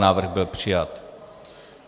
Návrh byl přijat.